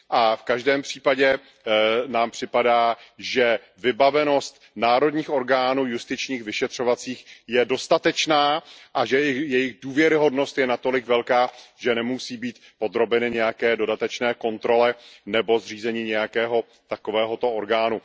A v každém případě nám připadá, že vybavenost národních orgánů justičních, vyšetřovacích je dostatečná a že jejich důvěryhodnost je natolik velká, že nemusí být podrobeny nějaké dodatečné kontrole nebo zřízení nějakého takovéhoto orgánu.